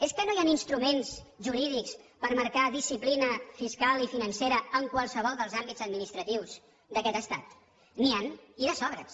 és que no hi han instruments jurídics per marcar disciplina fiscal i financera en qualsevol dels àmbits administratius d’aquest estat n’hi ha i de sobres